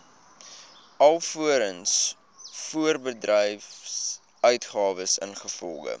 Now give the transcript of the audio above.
alvorens voorbedryfsuitgawes ingevolge